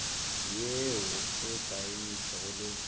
ye o e saenetšego le